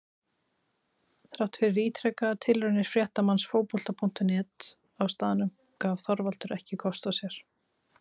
Þrátt fyrir ítrekaðar tilraunir fréttamanns Fótbolta.net á staðnum gaf Þorvaldur ekki kost á sér.